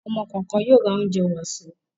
Ọ̀mọ kọ̀ọ̀kan yóò ra oúnjẹ wàsó.